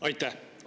Aitäh!